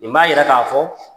Nin b'a yira k'a fɔ